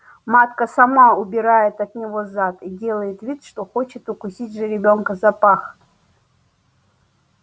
матка сама убирает от него зад и делает вид что хочет укусить жеребёнка за пах